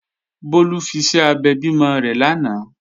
Bólú fiṣẹ́ abẹ bímọ rẹ̀ lánàá